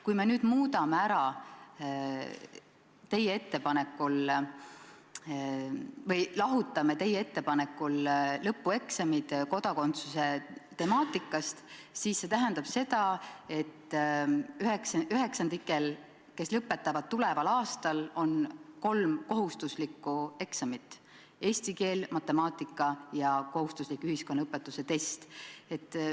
Kui me nüüd muudame selle ära teie ettepanekul või lahutame lõpueksamid kodakondsuse temaatikast, siis see tähendab seda, et üheksandikel, kes lõpetavad tuleval aastal, on kolm kohustuslikku eksamit: eesti keel, matemaatika ja ühiskonnaõpetuse test.